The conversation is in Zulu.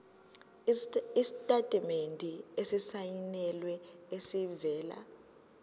isitatimende esisayinelwe esivela